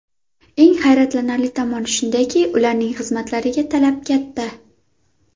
Eng hayratlanarli tomoni shundaki, ularning xizmatlariga talab katta.